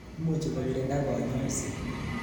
Imuchi kokirinda kanyoiset